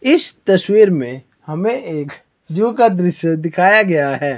इस तस्वीर में हमें एक जू का दृश्य दिखाया गया है।